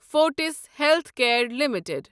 Fortis healthcare limited